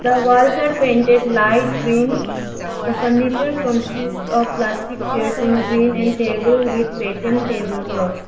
the walls are painted light green the furniture consist of plastic chairs in green and table with pattern table clothes.